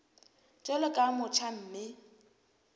jwalo ka o motjha mme